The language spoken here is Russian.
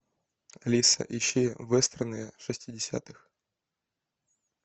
алиса ищи вестерны шестидесятых